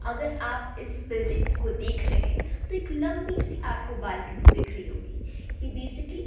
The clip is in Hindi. अगर आप इस बिल्डिंग को देख रहें तो एक लंबी सी आपको बालकनी दिख रही होगी ये बेसिकली --